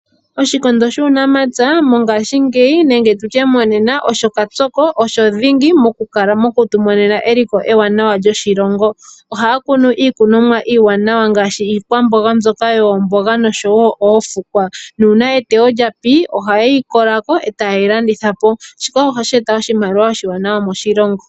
Oshikondo shuu namapya mongaashingeyi nenge tutye monena osho kapyoko osho dhingi mo kutu monena eliko lyoshilongo ,ohaa kunu iikunomwa iiwaanawa ngaashi iikwamboga ndjoka yoomboga noshowo oofukwa nuuna eteyo lyapi oha yeyi kolako eta yeyi landithapo ,shika ohashi eta oshimaliwa oshiwanawa moshilongo.